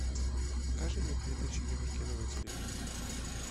покажи мне передачу еврокино на телевизоре